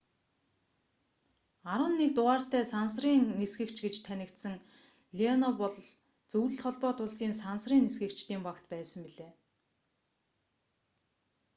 11 дугаартай сансрын нисгэгч гэж танигдсан леонов бол зөвлөлт холбоот улсын сансрын нисгэгчдийн багт байсан билээ